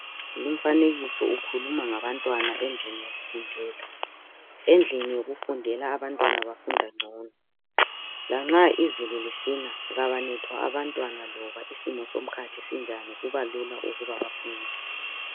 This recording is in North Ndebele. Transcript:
Umfanekiso ukhuluma ngabantwana endlini yokufundela. Endlini yokufundela abantwana bafunda ngcono lanxa izulu lisina kabanethwa abantwana noma isimo somkhathi sinjani kubalula ukuba bafunde